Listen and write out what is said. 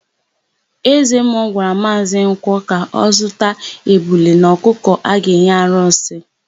Ezemmụọ gwara Maazị Nkwọ ka ọ zụta ebule na ọkụkọ a ga-enye arụsị.